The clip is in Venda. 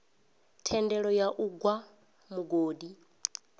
thendelo ya u gwa mugodi